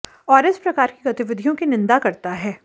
और इस प्रकार की गतिविधियों की निंदा करता है